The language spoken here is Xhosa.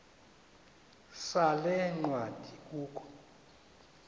sale ncwadi kukho